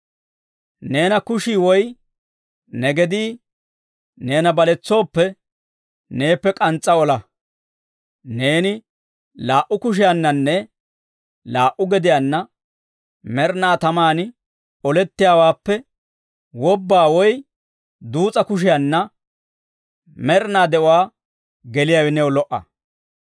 «Neena kushii woy ne gedii neena baletsooppe, neeppe k'ans's'a ola; neeni laa"u kushiyaannanne laa"u gediyaanna med'inaa tamaan olettiyaawaappe wobba woy duus'a kushiyaanna med'inaa de'uwaa geliyaawe new lo"a.